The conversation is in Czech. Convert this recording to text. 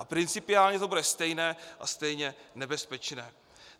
A principiálně to bude stejné a stejně nebezpečné.